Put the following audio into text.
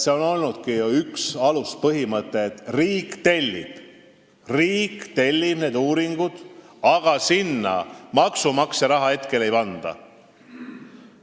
See on olnudki üks aluspõhimõtteid, et riik tellib need uuringud, aga sinna maksumaksja raha hetkel ei panda.